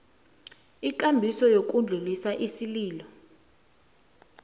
ikambiso yokudlulisa isililo